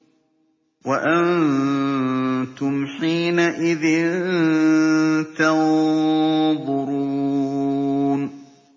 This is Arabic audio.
وَأَنتُمْ حِينَئِذٍ تَنظُرُونَ